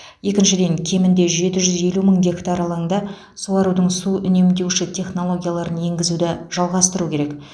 екіншіден кемінде жеті жүз елу мың гектар алаңда суарудың су үнемдеуші технологияларын енгізуді жалғастыру керек